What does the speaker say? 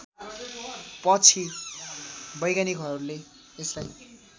पछि वैज्ञानिकहरूले यसलाई